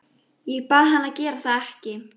Ég bað hann að gera það ekki.